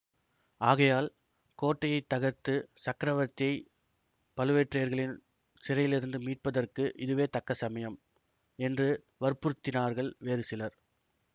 ஆகையால் கோட்டையை தகர்த்துச் சக்கரவர்த்தியை பழுவேட்டரையர்களின் சிறையிலிருந்து மீட்பதற்கு இதுவே தக்க சமயம் என்று வற்புறுத்தினார்கள் வேறு சிலர்